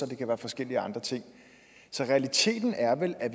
det kan være forskellige andre ting så realiteten er vel at